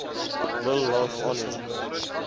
wil laat aanneem